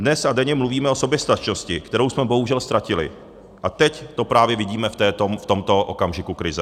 Dnes a denně mluvíme o soběstačnosti, kterou jsme bohužel ztratili, a teď to právě vidíme v tomto okamžiku krize.